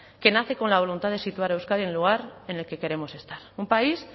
que nace con la voluntad de situar a euskadi en el lugar en el que queremos estar un país